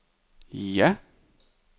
ja